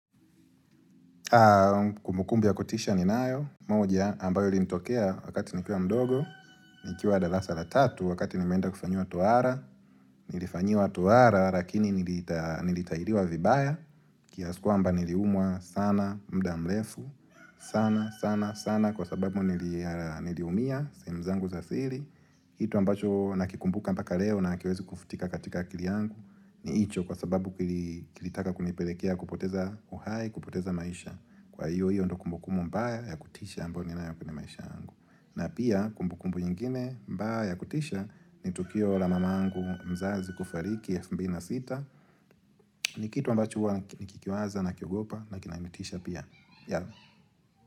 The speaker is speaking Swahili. Haa kumbukumbu ya kutisha ninayo moja ambayo ilinitokea wakati nikiwa mdogo nikiwa darasa la tatu wakati nimeenda kufanyiwa tohara nilifanyiwa tohara lakini nilitahiliwa vibaya kiasi kwamba niliumwa sana muda mrefu sana sana sana kwa sababu niliumia sehemu zangu za siri Kitu ambacho nakikumbuka mpaka leo na hakiwezi kufutika katika akili yangu ni hicho kwa sababu kilitaka kunipelekea kupoteza uhai, kupoteza maisha. Kwa hiyo, hiyo ndo kumbukumbu mbaya ya kutisha ambayo ninayo kwenye maisha yangu na pia kumbukumbu nyingine mbaya ya kutisha ni tukio la mamangu mzazi kufariki elfu mbili na sita ni kitu ambacho huwa nikikiwaza nakiogopa na kinanitisha pia. Yeah.